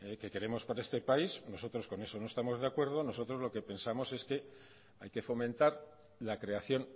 que queremos para este país nosotros con eso no estamos de acuerdo nosotros lo que pensamos es que hay que fomentar la creación